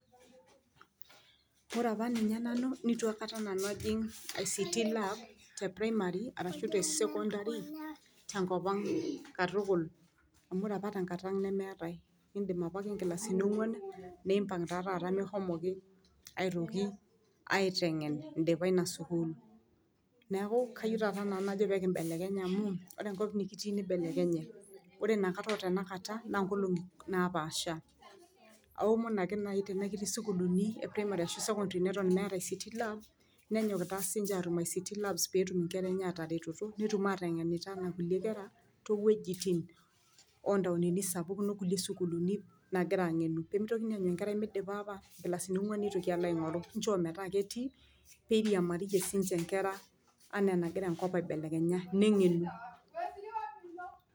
ore apa ninye nanu neitu aikata nanu ajing ict lab te primary ashu te sekondari tenkop ang katukul, amu ore apa tenkata ang nemeetae, indip apake nkilasini ong'uan, nipang taa taata mikishomoki aitoki aiteng'en indipa ina sukuul, neeku kayieu taata nanu najo peekibelekenya amuu ore enkop nikitii nibelekenye ore inakata o tenakata naa ng'olong'i napaasha. aomon ake naai tenaa ketii sukuluni e primary ashu sekondari neton meeta ict lab nenyok taa sii ninche atu ict labs peetum inkera enche ataretoto, netum aateng'enita o nkulie kera, toowuejitin o ntaonini sapukin o kulie sukuuluni naagira aang'enu, peemitokini aanyu enkerai midipa apa nkilasini ong'uan nitoki alo aing'oru, nchoo metaa ketii neiriamariyie sii ninche nkera anaa anagira enkop aibelekenya, neng'enu.